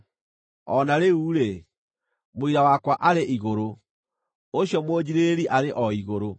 O na rĩu-rĩ, mũira wakwa arĩ igũrũ; ũcio mũnjiirĩrĩri arĩ o igũrũ.